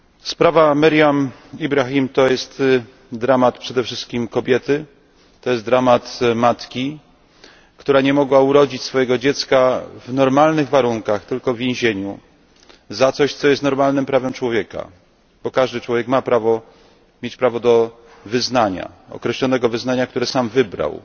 Sprawa Meriam Ibrahim to jest dramat przede wszystkim kobiety, to jest dramat matki, która nie mogła urodzić swojego dziecka w normalnych warunkach, tylko w więzieniu za coś, co jest normalnym prawem człowieka, bo każdy człowiek ma prawo do wyznania określonego wyznania, które sam wybrał.